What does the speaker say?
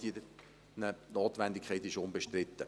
Die Notwendigkeit ist unbestritten.